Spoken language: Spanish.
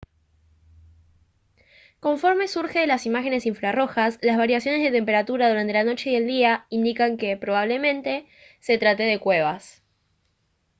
conforme surge de las imágenes infrarrojas las variaciones de temperatura durante la noche y el día indican que probablemente se trate de cuevas